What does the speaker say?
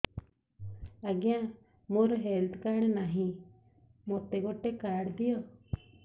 ଆଜ୍ଞା ମୋର health card ନାହିଁ ମୋତେ ଗୋଟେ କାର୍ଡ ଦିଅ